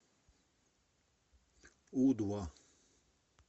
у два